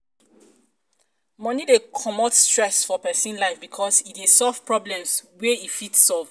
money de comot stress for persin life because e de solve problems wey e fit solve